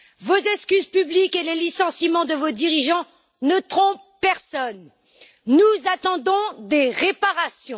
Vos excuses publiques et les licenciements de vos dirigeants ne trompent personne. Nous attendons des réparations.